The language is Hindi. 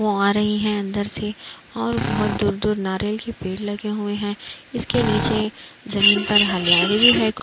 वो आ रही है अंदर से और बहोत दूर दूर नारियल के पेड़ लगे हुए हैं। इसके नीचे जमीन पे हलियारी भी है क --